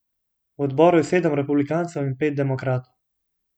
V odboru je sedem republikancev in pet demokratov.